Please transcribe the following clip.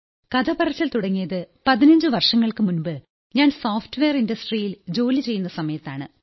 കഥപറച്ചിൽ തുടങ്ങിയത് 15 വർഷങ്ങൾക്കു മുമ്പ് ഞാൻ സോഫ്റ്റ്വെയർ ഇൻഡസ്ട്രിയിൽ ജോലി ചെയ്യുന്ന സമയത്താണ്